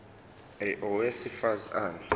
a owesifaz ane